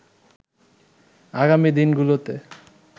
আগামী দিনগুলোতে